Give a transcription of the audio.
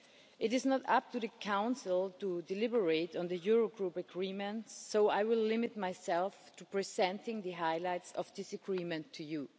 It is not up to the Council to deliberate on the Eurogroup agreements, so I will limit myself to presenting the highlights of this agreement to you.